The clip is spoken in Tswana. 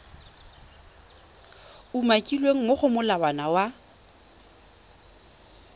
umakilweng mo go molawana wa